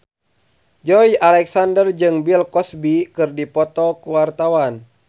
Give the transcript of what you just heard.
Joey Alexander jeung Bill Cosby keur dipoto ku wartawan